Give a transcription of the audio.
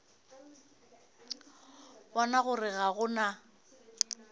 bona gore ga go na